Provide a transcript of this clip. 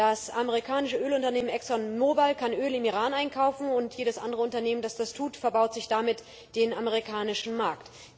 Das amerikanische Ölunternehmen ExxonMobile kann im Iran einkaufen, und jedes andere Unternehmen, das das tut, verbaut sich damit den amerikanischen Markt.